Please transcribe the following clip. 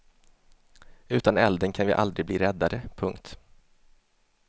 Utan elden kan vi aldrig bli räddade. punkt